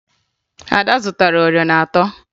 Ada zụtara oriọna atọ